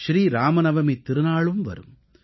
ஸ்ரீ இராமநவமித் திருநாளும் வரும்